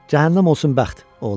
Cəhənnəm olsun bəxt!